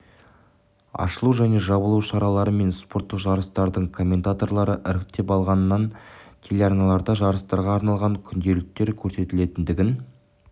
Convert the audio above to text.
ашылу және жабылу шаралары мен спорттық жарыстардың коментаторлары іріктеп алынғанын телеарналарда жарыстарға арналған күнделіктер көрсетілетіндігін